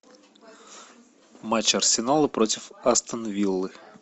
матч арсенала против астон виллы